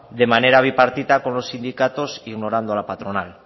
de manera bipartita con los sindicatos ignorando la patronal